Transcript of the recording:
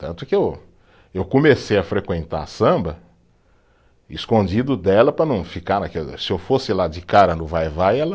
Tanto que eu, eu comecei a frequentar samba escondido dela para não ficar naquela, se eu fosse lá de cara no vai-vai, ela...